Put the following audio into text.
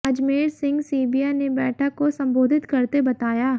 अजमेर सिंह सीबिया ने बैठक को संबोधित करते बताया